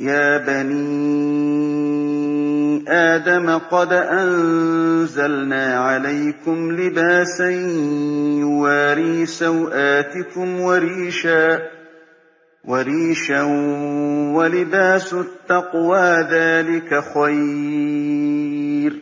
يَا بَنِي آدَمَ قَدْ أَنزَلْنَا عَلَيْكُمْ لِبَاسًا يُوَارِي سَوْآتِكُمْ وَرِيشًا ۖ وَلِبَاسُ التَّقْوَىٰ ذَٰلِكَ خَيْرٌ ۚ